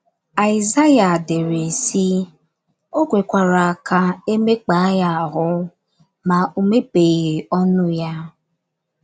Aịzaya dere, sị: “ O kwekwara ka e mekpaa ya ahụ́; ma o mepeghị ọnụ ya. ”